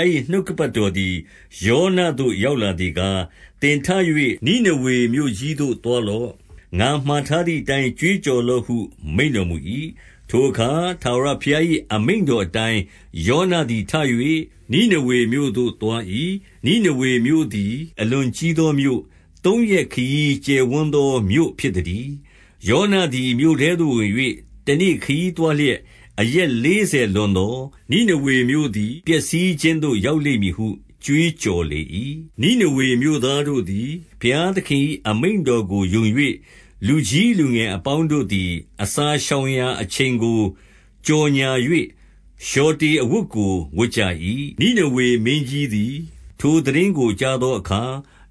ား၏ နှုတ်ကပတ်တော် သည် ယောနသို့ရောက်လာသည်ကား၊ 2 သင်ထ၍ နိနေဝေမြို့ကြီးသို့ သွားလော့။ ငါမှာ ထားသည်အတိုင်း ကြွေးကြော်လော့ဟု မိန့်တော်မူ၏။ 3 ထိုအခါ ထာဝရဘုရား၏ အမိန့်တော်အတိုင်း ယောနသည် ထ၍ နိနေဝေမြို့သို့ သွား၏။ နိနေဝေမြို့ သည် အလွန်ကြီးသောမြို့၊ သုံးရက်ခရီးကျယ်ဝန်းသော မြို့ဖြစ်သတည်း။ 4 ယောနသည် မြို့ထဲသို့ဝင်၍ တနေ့ခရီးသွား လျက်၊ အရက်လေးဆယ်လွန်သော်၊ နိနေဝေမြို့သည် ပျက် စီးခြင်းသို့ရောက်လိမ့်မည်ဟု ကြွေးကြော်လေ၏။ 5 နိနေဝေမြို့သားတို့သည် ဘုရားသခင်၏ အမိန့် တော်ကို ယုံ၍၊ လူကြီးလူငယ်အပေါင်းတို့သည် အစာ ရှောင်ရာအချိန်ကို ကြော်ငြာ၍ လျှော်တေအဝတ်ကို ဝတ် ကြ၏။ 6 နိနေဝေမင်းကြီးသည် ထိုသိတင်းကို ကြားသော အခါ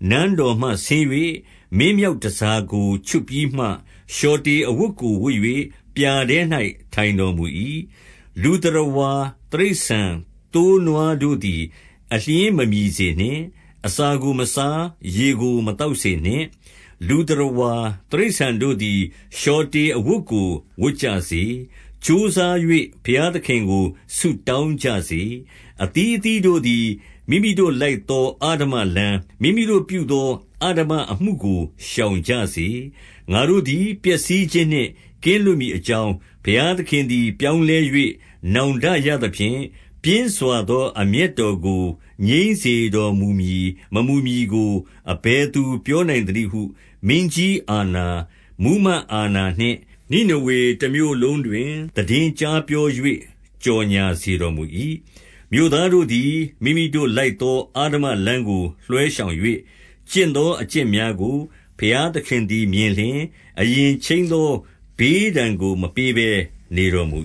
နန်းတော်မှဆင်း၍ မင်းမြောက်တန်ဆာကို ချွတ်ပြီး မှ၊ လျှော်တေအဝတ်ကို ဝတ်၍ ပြာထဲ၌ ထိုင်တော်မူ၏။ 7 လူသတ္တဝါ တိရစ္ဆာန်သိုးနွားတို့သည် အလျှင်းမ မြည်စေနှင့်။ အစာကို မစား၊ ရေကို မသောက်စေနှင့်။ 8 လူသတ္တဝါတိရစ္ဆာန်တို့သည် လျှော်တေအဝတ် ကို ဝတ်ကြစေ။ ကြိုးစား၍ ဘုရားသခင်ကို ဆုတောင်းကြ စေ။ အသီးအသီးတို့သည် မိမိတို့လိုက်သော အဓမ္မလမ်း၊ မိမိတို့ပြုသော အဓမ္မအမှုကို ရှောင်ကြစေ။ 9 ငါတို့သည် ပျက်စီးခြင်းနှင့် ကင်းလွတ်မည်အ ကြောင်း၊ ဘုရားသခင်သည် ပြောင်းလဲ၍ နောင်တရ သဖြင့်၊ ပြင်းစွာသောအမျက်တော်ကို ငြိမ်းစေတော်မူမည် မမူမည်ကို အဘယ်သူပြောနိုင်သနည်းဟု မင်းကြီးအာဏာ၊ မှူးမတ်အာဏာနှင့် နိနေဝေတမြို့လုံးတွင် သိတင်းကြား ပြော၍ ကြော်ငြာစေတော်မူ၏။ 10 မြို့သားတို့သည် မိမိတို့လိုက်သော အဓမ္မလမ်း ကို လွှဲရှောင်၍၊ ကျင့်သောအကျင့်များကို ဘုရားသခင် သည် မြင်လျှင်၊ အရင်ခြိမ်းသောဘေးဒဏ်ကို မပေးဘဲနေ တော်မူ